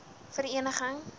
vereeniging